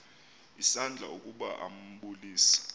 isandla ukuba ambulise